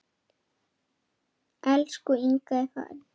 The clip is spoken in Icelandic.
Elsku Inga er farin.